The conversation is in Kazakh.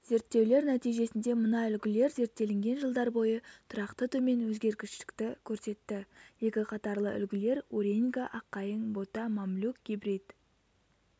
зерттеулер нәтижесінде мына үлгілер зерттелінген жылдар бойы тұрақты төмен өзгергіштікті көрсетті екіқатарлы үлгілер уреньга аққайың бота мамлюк гибрид